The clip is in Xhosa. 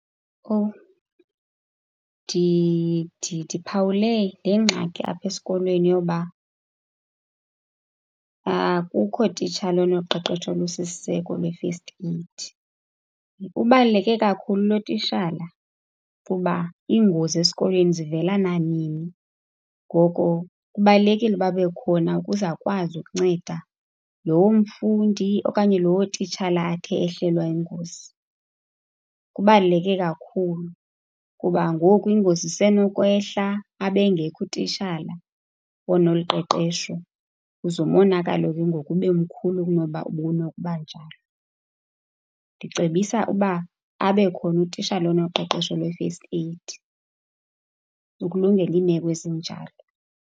Oh, ndiphawule le ngxaki apha esikolweni yoba akukho titshala onoqeqesho olusisiseko lwe-first aid. Ubaluleke kakhulu lo titshala kuba iingozi esikolweni zivela nanini, ngoko kubalulekile uba abe khona ukuze akwazi ukunceda lowo mfundi okanye lowo titshala athe ehlelwa yingozi. Kubaluleke kakhulu kuba ngoku ingozi isenokwehla abe engekho utishala onolu qeqeshesho, uze umonakalo ke ngoku ube mkhulu kunoba ubunokuba njalo. Ndicebisa uba abe khona utishala onoqeqesho lwe-first aid ukulungela iimeko ezinjalo.